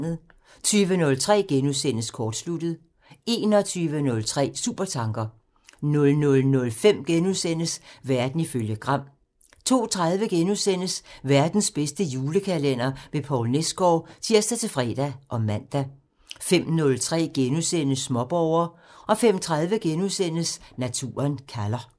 20:03: Kortsluttet *(tir) 21:03: Supertanker (tir) 00:05: Verden ifølge Gram *(tir) 02:30: Verdens bedste julekalender med Poul Nesgaard *(tir-fre og man) 05:03: Småborger *(tir) 05:30: Naturen kalder *(tir)